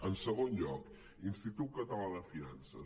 en segon lloc institut català de finances